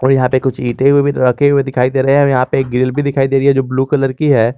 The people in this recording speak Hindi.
इश्के बस लोहे लोहे की कुछ चीजे भी रखी हुई नजर आ रही है।